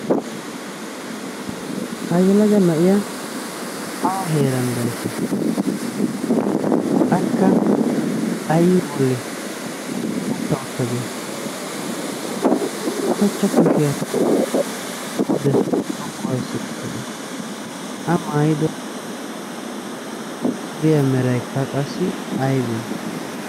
ha yalaga na7iya au heeran daissha akka ayyi boli uutta uttadee ushechcha kushiyaa pude xoqqu aissi outtadee a maayido suriyaa meraikka qassi aibee